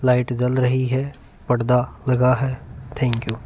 Light जल रही है परदा लगा हुआ है थैंक यू ।